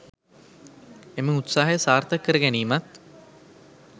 එම උත්සාහය සාර්ථක කරගැනීමත්